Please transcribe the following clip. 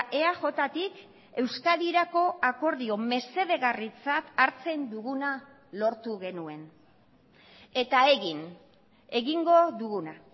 eajtik euskadirako akordio mesedegarritzat hartzen duguna lortu genuen eta egin egingo duguna